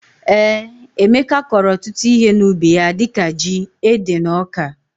Ee Emeka kọro ọtụtụ ihe na ubi ya dika jị ,ede na ọka.